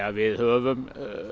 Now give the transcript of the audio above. við höfum